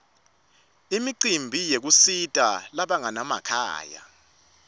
imicimbi yekusita labanganamakhaya